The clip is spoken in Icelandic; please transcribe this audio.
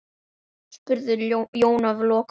spurði Jón að lokum.